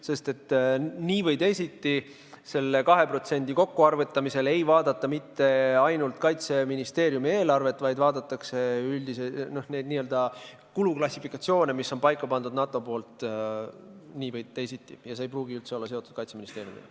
Sest nii või teisiti selle 2% kokkuarvutamisel ei vaadata mitte ainult Kaitseministeeriumi eelarvet, vaid vaadatakse neid üldiseid kuluklassifikatsioone, mille NATO on paika pannud, nii või teisiti, ja see ei pruugi üldse olla seotud Kaitseministeeriumiga.